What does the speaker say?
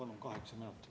Ma palun kaheksa minutit.